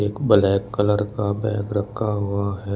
Black colour का bag रखा हुआ है।